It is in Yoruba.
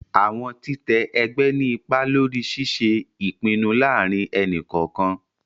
Awọn titẹ ẹgbẹ ni ipá lórí ṣiṣe ipinnu láàrin ẹni kọọkan